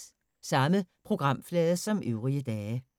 Samme programflade som øvrige dage